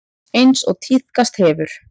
Eins og tíðkast hefur.